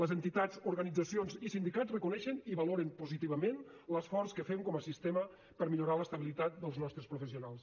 les entitats organitzacions i sindicats reconeixen i valoren positivament l’esforç que fem com a sistema per a millorar l’estabilitat dels nostres professionals